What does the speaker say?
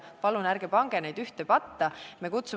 Palun ärge pange neid ühte patta!